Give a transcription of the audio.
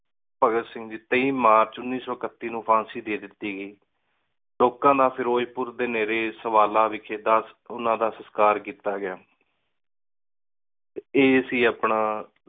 ਭਗਤ ਸਿੰਘ ਦੀ ਤੇਈਮਾਰਚ ਉੱਨੀ ਸੋ ਇਕੱਤੀ ਨੂੰ ਫਾਂਸੀ ਦੇ ਦਿਤੀ ਗਈ। ਲੋਕਾਂ ਨਾ ਫੇਰੋਜ੍ਪੁਰ ਦੇ ਨੇਰ੍ਰੀ ਓਹਨਾ ਦਾ ਸੰਸਕਾਰ ਕੀਤਾ ਗਯਾ ਇਹ ਸੀ ਆਪਣਾ